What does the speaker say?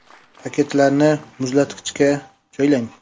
Paketlarni muzlatkichga joylang.